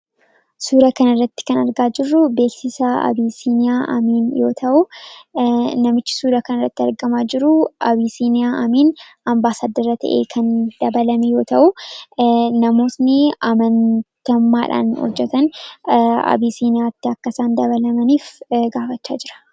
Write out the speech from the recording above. Suura kanarratti kan argaa jirru beeksisa Abiisiinyaa Abiin yoo ta’u, namichi suura kanarratti argamaa jiru Abiisiiniyaa Amiin ambaasaaddara ta'ee kan dabalame yoo ta’u, namoonni amantummaadhaan hojjetan abiisiiniyaatti akka isaan dabalamaniif gaafachaa jira.